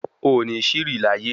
O ní ṣìrì láyé